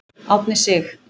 Árni Sig.